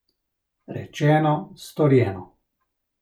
Rečeno, storjeno.